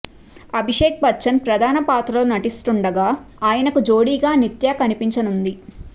అభిషేక్ బచ్చన్ ప్రధాన పాత్రలో నటిస్తుండాగా ఆయనకు జోడిగా నిత్యా కనిపించనుంది